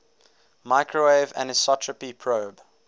microwave anisotropy probe